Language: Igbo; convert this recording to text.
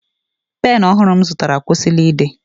Pen ọhụrụ m zụtara akwụsịla ide